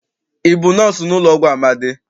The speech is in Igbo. Ị bụ nọọsụ n'ụlọọgwụ Amadị?